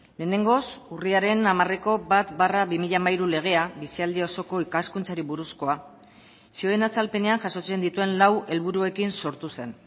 lehenengoz urriaren hamareko bat barra bi mila hamairu legea bizialdi osoko ikaskuntzari buruzkoa zioen azalpenean jasotzen dituen lau helburuekin sortu zen